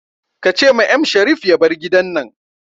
Ka ce ma M Sharif ya bar gidan nan